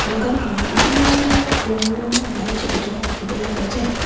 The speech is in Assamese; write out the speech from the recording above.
দোকানখনত বিভিন্ন ধৰণৰ ৰং বিৰঙৰ লাইট জ্বলি থকা দেখিবলে পোৱা যায়।